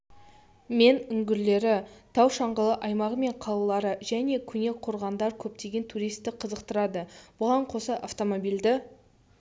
мен үңгірлері тау-шаңғылы аймағы мен қалалары және көне қорғандары көптеген туристті қызықтырады бұған қоса автомобильді